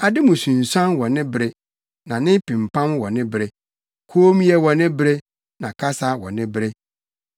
ade mu sunsuane wɔ ne bere na ne pempam wɔ ne bere, kommyɛ wɔ ne bere na kasa wɔ ne bere,